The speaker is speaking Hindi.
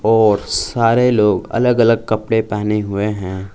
और सारे लोग अलग अलग कपड़े पहने हुए हैं।